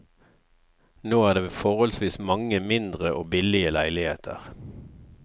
Nå er det forholdsvis mange mindre og billige leiligheter.